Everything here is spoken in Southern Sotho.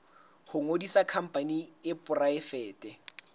ho ngodisa khampani e poraefete